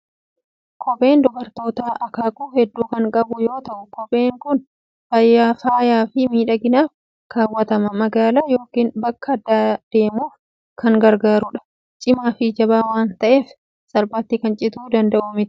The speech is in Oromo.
Kopheen dubartootaa akaakuu hedduu kan qabuu yoo ta'u, kopheen kun faayaa fi miidhaginaaf kaawwatanii magaalaa yookiin bakka addaa deemuuf kan gargaarudha. Cimaa fi jabaa waan ta'eef salphaatti kan cituu danda'u miti.